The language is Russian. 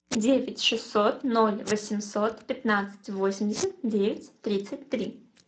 девять шестьсот ноль восемьсот пятнадцать восемьдесят девять тридцать три